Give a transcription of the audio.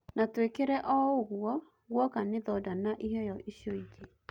Na tũekire o-ũguo guoka nĩ thonda na iheyo icio-ingĩ.